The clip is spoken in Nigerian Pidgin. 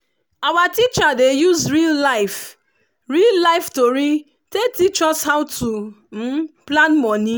our teacher dey use real life real life tori take teach us how to plan money.